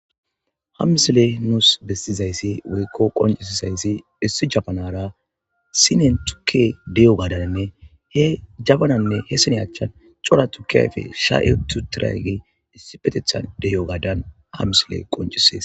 hamsile nuus besizayssi woykko qoncisizayssi issi jabanara sinen tuke deyo gaadaninne he jabananne heesene achchan cora tukke ayfe sha7etu tiragi issi petetha deyo gaadan hamsile qoncisees